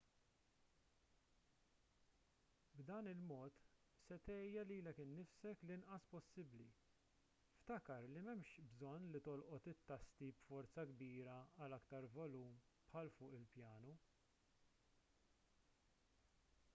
b'dan il-mod se tgħejja lilek innifsek l-inqas possibbli ftakar li m'hemmx bżonn li tolqot it-tasti b'forza kbira għal aktar volum bħal fuq il-pjanu